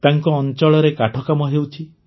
ତାଙ୍କ ଅଞ୍ଚଳରେ କାଠ କାମ ହେଉଛି